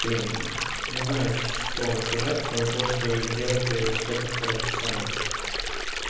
блин не знаю что вам сказать кроме того что делайте всё как по расписанию